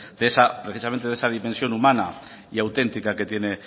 de esa precisamente de esa dimensión humana y auténtica que tiene